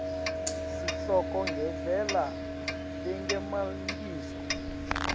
sihloko ngendlela lengemalengiso